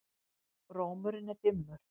Rómurinn er dimmur.